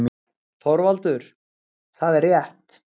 ÞORVALDUR: Það er rétt!